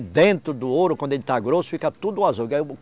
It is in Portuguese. E dentro do ouro, quando ele está grosso, fica tudo azougue aí